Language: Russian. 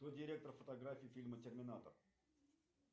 кто директор фотографий фильма терминатор